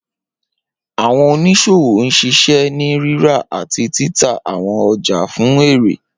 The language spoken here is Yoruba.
Awọn oniṣowo n ṣiṣẹ ni rira ati tita awọn ọja fun ere.